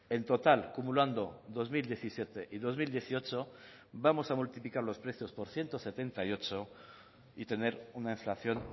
en total acumulando dos mil diecisiete y dos mil dieciocho vamos a multiplicar los precios por ciento setenta y ocho y tener una inflación